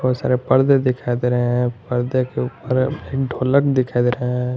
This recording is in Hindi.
बहुत सारे पर्दे दिखा दे रहे हैं पर्दे के ऊपर ढोलक दिखा दे रहा है।